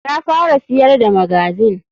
Ta fara siyar da magazine.